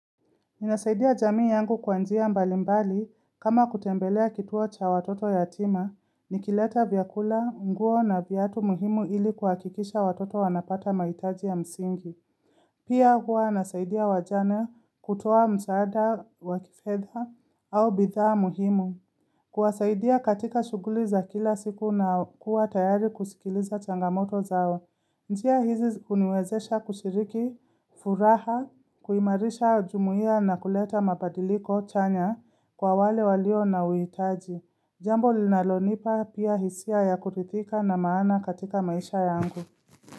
Ninasaidia jamii yangu kwa njia mbalimbali kama kutembelea kituo cha watoto yatima, nikileta vyakula, nguo na vyatu muhimu ili kuhakikisha watoto wanapata maitaji ya msingi. Pia hua nasaidia wajana kutoa msaada wakifedha au bidhaa muhimu. Kuwasaidia katika shuguli za kila siku na kuwa tayari kusikiliza changamoto zao. Njia hizi huniwezesha kushiriki, furaha, kuimarisha jumuia na kuleta mabadiliko chanya kwa wale walio na uitaji. Jambo linalonipa pia hisia ya kurithika na maana katika maisha yangu.